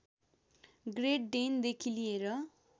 great डेनदेखि लिएर